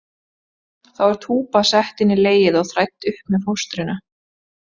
Þá er túpa sett inn í legið og þrædd upp með fóstrinu.